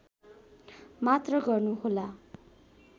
मात्र गर्नुहोला